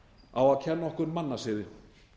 á að kenna okkur mannasiði